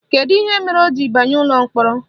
Kedu ihe mere o ji banye ụlọ mkpọrọ?